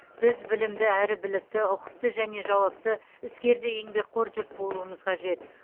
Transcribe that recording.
біз білімді әрі білікті ұқыпты және жауапты іскер де еңбекқор жұрт болуымыз қажет